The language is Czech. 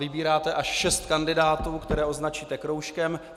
Vybíráte až šest kandidátů, které označíte kroužkem.